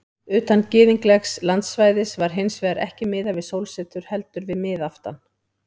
Utan gyðinglegs landsvæðis var hins vegar ekki miðað við sólsetur heldur við miðaftan.